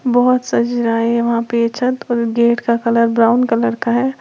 बहुत सज रहा है वहां पे ये छत और गेट का कलर ब्राउन कलर का है।